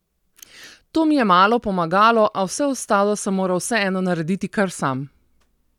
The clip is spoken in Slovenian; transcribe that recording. To mi je malo pomagalo, a vse ostalo sem moral vseeno narediti kar sam.